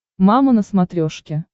мама на смотрешке